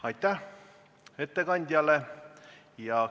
Aitäh ettekandjale!